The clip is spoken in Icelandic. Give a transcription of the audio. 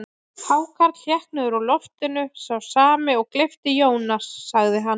Hákarl hékk niður úr loftinu, sá sami og gleypti Jónas, sagði hann.